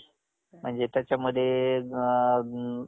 job